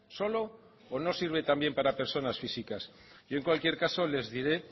solo o no sirve también para personas físicas yo en cualquier caso les diré